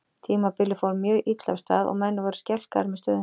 Tímabilið fór mjög illa af stað og menn voru skelkaðir með stöðuna.